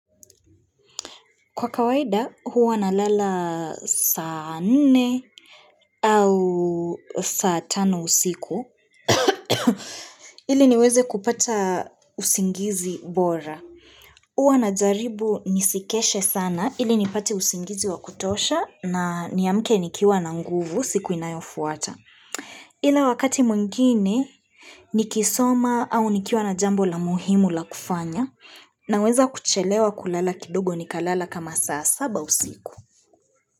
Kwa kawaida huwa na lala saa nne au saa tano usiku ili niweze kupata usingizi bora. Huwa na jaribu nisikeshe sana ili nipate usingizi wa kutosha na niamke nikiwa na nguvu siku inayofuata. Ila wakati mwengine ni kisoma au nikiwa na jambo la muhimu la kufanya na weza kuchelewa kulala kidogo ni kalala kama saa saba usiku.